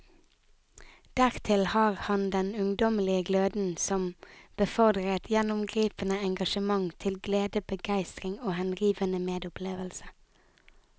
Dertil har han den ungdommelige gløden som befordrer et gjennomgripende engasjement til glede, begeistring og henrivende medopplevelse.